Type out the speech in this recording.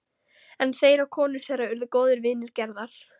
En þeir og konur þeirra urðu góðir vinir Gerðar.